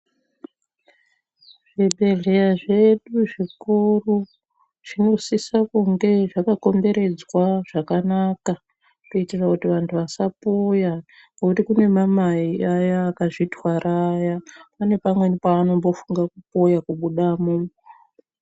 Zvibhehleya zvedu zvikuru zvinosiso kunge zvakakomberedzwa zvakanaka kuitira kuti vantu vasapoya ngokuti kunemamai aya akazvitwara aya pane pamweni pavanombofunga kupoya kubudamo.